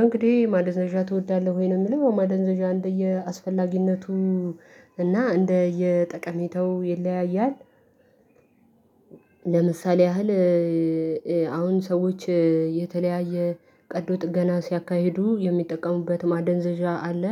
እንግዲህ ማደንዘዣ ትወዳለህ ወይ? ነው የሚለው ማደንዘዣ እንደየ አስፈላጊነቱ እና እንደ የጠቀሜታው ይለያያል። ለምሳሌ ያህል አሁን ሰዎች የተለያየ ቀዶ ጥገና ሲያካሂዱ የሚጠቀሙበት ማደንዘዣ አለ